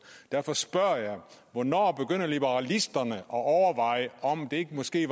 derfor spørger jeg hvornår begynder liberalisterne at overveje om det måske